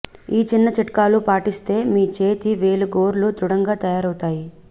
ఈ చిన్న చిట్కాలు పాటిస్తే మీ చేతి వేలి గోర్లు దృఢంగా తయారవుతాయి